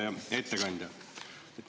Hea ettekandja!